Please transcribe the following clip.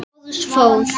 Lárus fór.